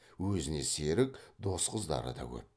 өзіне серік дос қыздары да көп